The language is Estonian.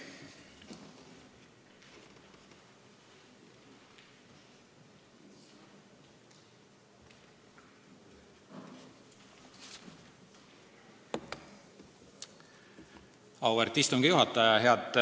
Auväärt istungi juhataja!